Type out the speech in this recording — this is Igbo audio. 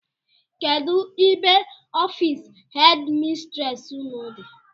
Kedụ ebe ọffici headi mistresi ụnụ dị?